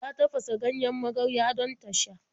Ta tafasa ganjen magarya don ta sha.